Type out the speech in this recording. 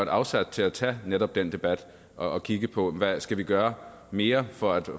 afsæt til at tage netop den debat og kigge på hvad vi skal gøre mere for at